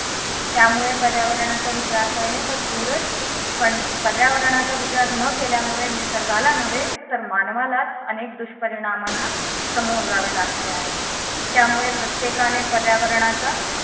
त्यामुळे पर्यावरणाचा विचार करणे तर दूरच पण पर्यावरणाचा विचार न केल्यामुळे निसर्गाला नवे तर मानवाला अनेक दुष्परिणामांना समोर जावे लागते आहे त्यामुळे प्रत्येकाने पर्यावरणाचा